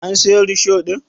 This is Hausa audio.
An siyo risho ɗin?